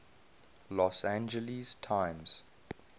los angeles times